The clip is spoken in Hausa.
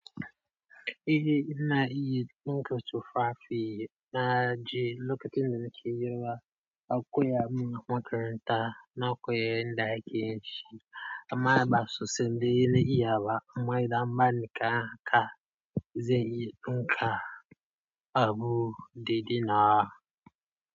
Eh ina iya dukan tufafi na je lokacin da nake yiwa akuya ma makaranta na koya yanda ake yin shi amma ba sosai na iya ba, amma yanzu an bani kaya, zan iya dinka abu dai-dai nawa.